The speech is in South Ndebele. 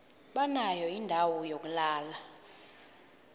banayo indawo yokulala